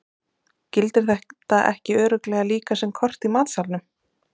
Gildir þetta ekki örugglega líka sem kort í matsalnum?